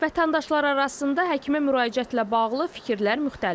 Vətəndaşlar arasında həkimə müraciətlə bağlı fikirlər müxtəlifdir.